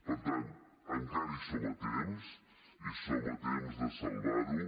per tant encara hi som a temps hi som a temps de salvar ho